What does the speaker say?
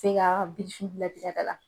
Bɛɛ k'a ka birifini labiri a da la.